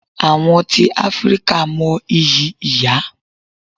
Àwọn tí Áfríkà mo ìyí ìyá.